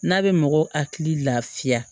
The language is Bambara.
N'a bɛ mɔgɔw hakili lafiya